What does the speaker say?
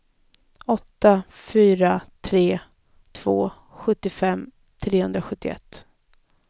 åtta fyra tre två sjuttiofem trehundrasjuttioett